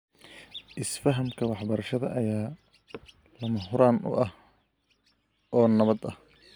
Isfahamka waxbarashada ayaa lama huraan u ah oo nabad ah.